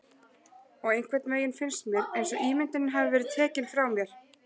Og einhvernveginn finnst mér einsog ímyndunin hafi verið tekin frá mér.